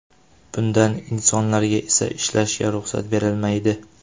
Bundan insonlarga esa ishlashga ruxsat berilmaydi.